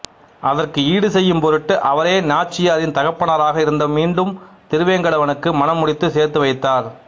அதற்கு ஈடுசெய்யும் பொருட்டு அவரே நாச்சியாரின் தகப்பனாராக இருந்து மீண்டும் திருவேங்கடவனுக்கு மணம் முடித்து சேர்த்து வைத்தார்